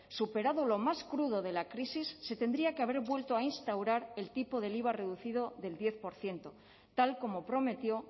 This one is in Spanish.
superado lo más crudo de la crisis se tendría que haber vuelto a instaurar el tipo del iva reducido del diez por ciento tal como prometió